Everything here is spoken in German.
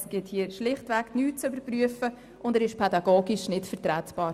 Es gibt hier nichts zu überprüfen, und der Vorstoss ist pädagogisch nicht vertretbar.